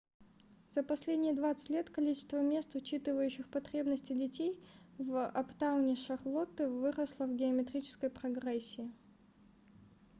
за последние 20 лет количество мест учитывающих потребности детей в аптауне шарлотты выросло в геометрической прогрессии